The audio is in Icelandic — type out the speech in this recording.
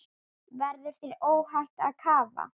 Verður þér óhætt að kafa?